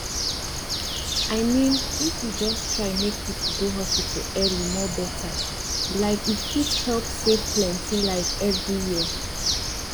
i mean if we just try make people go hospital early more better like e fit help save plenty life every year